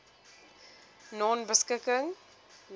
nonebeskikking